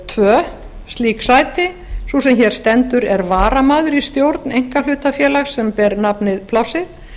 tvö slík sæti sú sem hér stendur er varamaður í stjórn einkahlutafélags sem ber efni plássið